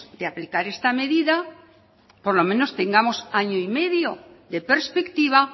de aplicar esta medida por lo menos tengamos año y medio de perspectiva